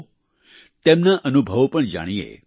આવો તેમના અનુભવો પણ જાણીએ